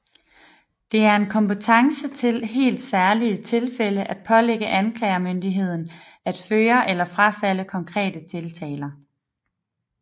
Det er en kompetence til i helt særlige tilfælde at pålægge anklagemyndigheden at føre eller frafalde konkrete tiltaler